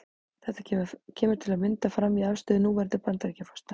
Þetta kemur til að mynda fram í afstöðu núverandi Bandaríkjaforseta.